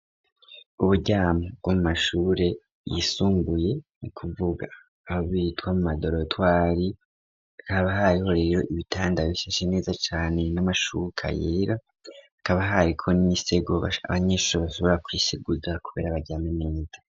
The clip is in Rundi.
Uburyamo bwo mashure yisumbuye ni ukuvuga hamwe bita mu madorotwari, hakaba hariho rero ibitanda bishashe neza cane n'amashuka yera akaba hariko n'imisego abanyeshuri bashobora kwiseguza kubera baryame neza.